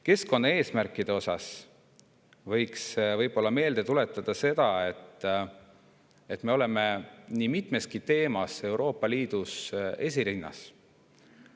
Keskkonnaeesmärkide osas võiks meelde tuletada seda, et me oleme nii mitmeski teemas Euroopa Liidus esirinnas.